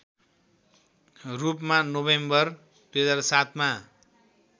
रूपमा नोभेम्बर २००७ मा